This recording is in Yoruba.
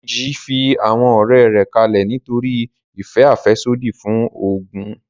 Dèjì fi àwọn ọ̀rẹ́ rẹ̀ kalẹ̀ nítorí ìfẹ́ àfẹ́sódì fún oògùn